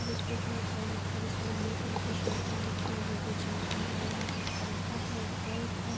اس pic مے ایک اور لڑکی ہے۔ جسنے بلوے کلر کی شرط پہن رکھی ہے اور وو بھی جم کر رہا ہے اور یہا پی پنکھا ہے ایک ہے--